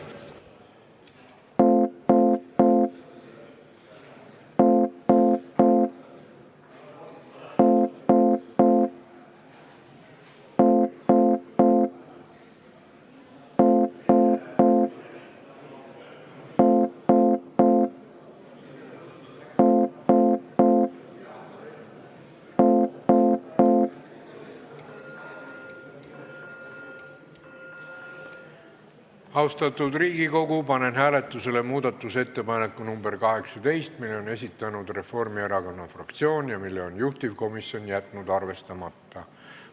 Austatud Riigikogu, panen hääletusele muudatusettepaneku nr 18, mille on esitanud Reformierakonna fraktsioon ja mille on juhtivkomisjon jätnud arvestamata.